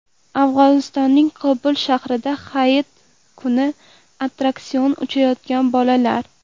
Afg‘onistonning Kobul shahrida Hayit kuni attraksion uchayotgan bolalar.